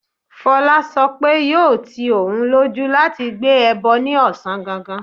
Fola sọ pé yóò ti òun lójú láti gbé ẹbọ ní ọ̀sán gangan.